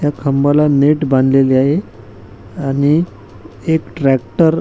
त्या खांबाला नेट बांधलेले आहे आणि एक ट्रॅक्टर --